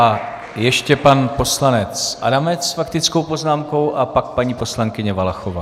A ještě pan poslanec Adamec s faktickou poznámkou a pak paní poslankyně Valachová.